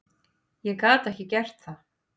Ég gat ekki gert það.